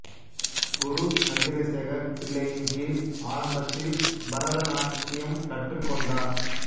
குரு சந்திரசேகர் பிள்ளையின் கீழ் ஆரம்பத்தில் பரத நாட்டியம் கற்றுக்கொண்டார்